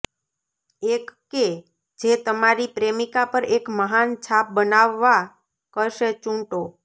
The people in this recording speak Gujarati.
એક કે જે તમારી પ્રેમિકા પર એક મહાન છાપ બનાવવા કરશે ચૂંટો